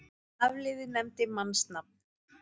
Hafliði nefndi mannsnafn.